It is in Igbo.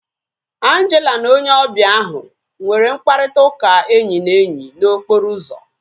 Angela na onye ọbịa ahu nwere mkparịta ụka enyi na enyi na okporo ụzọ